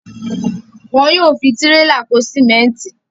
Wọn yóò fi tírélà kó símẹ́ńtì.